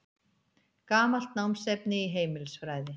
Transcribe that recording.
Gamalt námsefni í heimilisfræði.